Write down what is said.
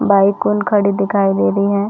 बाइकउन खड़ी दिखाई दे रही है।